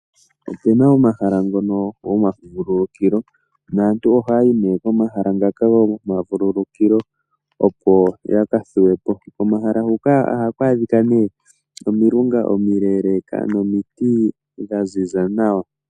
Opuna omahala ngoka gomavululukilo naantu oha yayi ne komahala ngaka gomavululukilo opo ya kathuwe po, komahala huka ohaku adhikwa omilunga omileleka nomiti dha ziza nawa.